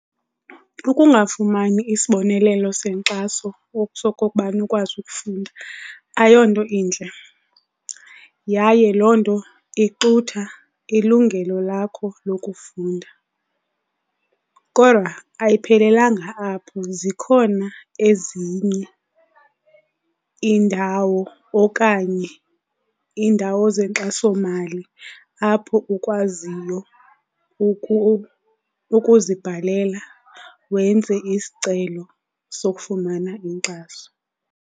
Ukungafumani isibonelelo senkxaso okutsho okokubana ukwazi ukufunda ayonto intle yaye loo nto ixutha ilungelo lakho lokufunda. Kodwa ayiphelelanga apho, zikhona ezinye iindawo okanye iindawo zenkxasomali apho ukwaziyo ukuzibhalela wenze isicelo sokufumana inkxaso.